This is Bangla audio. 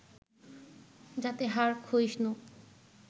যাতে হাড় ক্ষয়িষ্ণু